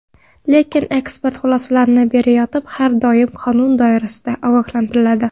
Lekin ekspert xulosalarni berayotib har doim qonun doirasida ogohlantiriladi.